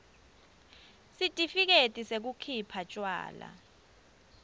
sitifiketi sekukhipha tjwala